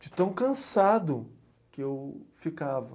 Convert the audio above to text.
De tão cansado que eu ficava.